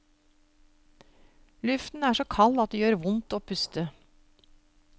Luften er så kald at det gjør vondt å puste.